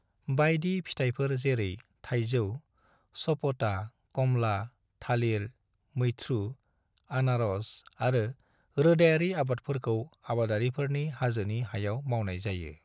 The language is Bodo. बायदि फिथाइफोर जेरै थायजौ, सपोटा, कमला, थालिर, मैथ्रु, आनार'स आरो रोदायारि आबादफोरखौ आबादारिफोरनि हाजोनि हायाव मावनाय जायो।